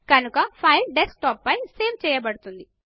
కనుక file desktop పైన సేవ్ చేయబడుతుంది